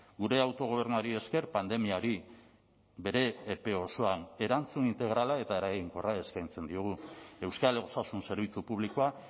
gure autogobernuari esker pandemiari bere epe osoan erantzun integrala eta eraginkorra eskaintzen diogu euskal osasun zerbitzu publikoa